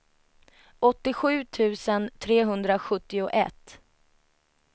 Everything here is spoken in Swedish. åttiosju tusen trehundrasjuttioett